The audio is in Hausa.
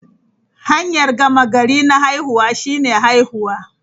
Hanyar gama gari na haihuwa shine haihuwa.